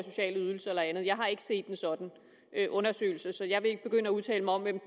sociale ydelser og andet jeg har ikke set en sådan undersøgelse så jeg vil ikke begynde at udtale mig om hvem